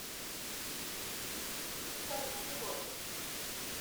миха килочек